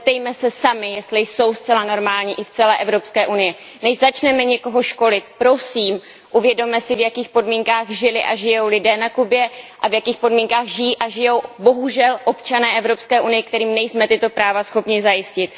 Zeptejme se sami, jestli jsou zcela normální i v celé Evropské unii. Než začneme někoho školit, prosím, uvědomme si, v jakých podmínkách žili a žijí lidé na Kubě a v jakých podmínkách žili a žijí, bohužel, občané Evropské unie, kterým nejsme tyto práva schopni zajistit.